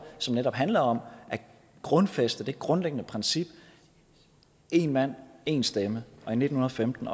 som netop handler om at grundfæste det grundlæggende princip en mand en stemme og i nitten femten